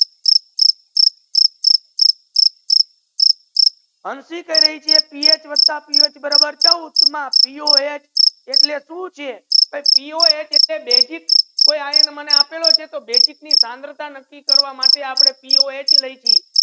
હંસી કહી રહી છે પીએચ વતા પીએચ બરાબર ચૌદ પીઓએચ એટલે સુ ચે પીઓએચ એટલે બેઝિક તે આયન માને આપેલો છે તો બેઝિક ની સાંદ્રતા નકી કરવા માટે આપડે પીઓએચ લાખી